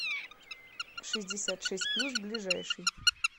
шестьдесят шесть плюс ближайший